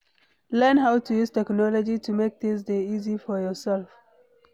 Learn how to use technology to make things dey easy for yourself